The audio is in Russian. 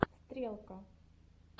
стрелка